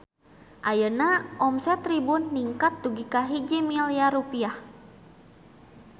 Ayeuna omset Tribun ningkat dugi ka 1 miliar rupiah